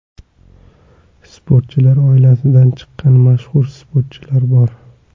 Sportchilar oilasidan chiqqan mashhur sportchilar bor.